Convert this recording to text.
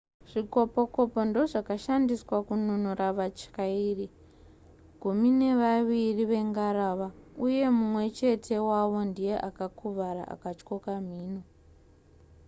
zvikopokopo ndozvakashandiswa kununura vatyairi gumi nevaviri vengarava uye mumwe chete wavo ndiye akakuvara akatyoka mhino